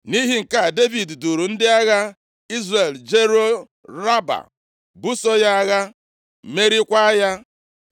Nʼihi nke a, Devid duuru ndị agha Izrel jeruo Raba, buso ya agha, meriekwa ya.